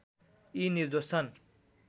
यी निर्दोष छन्